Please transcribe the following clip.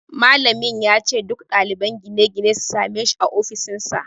Malamin ya ce duk ɗaliban gine-gine su same shi a ofishinsa